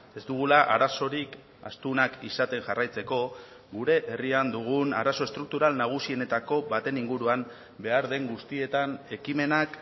ez dugula arazorik astunak izaten jarraitzeko gure herrian dugun arazo estruktural nagusienetako baten inguruan behar den guztietan ekimenak